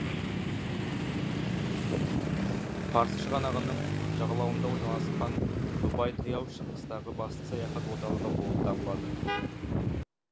парсы шығанағының жағалауында орналасқан дубай таяу шығыстағы басты саяхат орталығы болып табылады